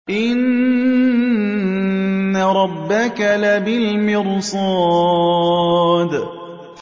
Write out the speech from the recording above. إِنَّ رَبَّكَ لَبِالْمِرْصَادِ